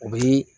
U bɛ